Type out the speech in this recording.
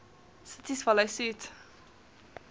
cities follow suit